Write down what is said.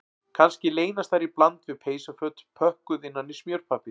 Kannski leynast þar í bland við peysuföt pökkuð innan í smjörpappír